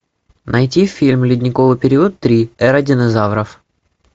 найти фильм ледниковый период три эра динозавров